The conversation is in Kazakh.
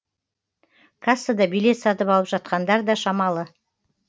кассада билет сатып алып жатқандар да шамалы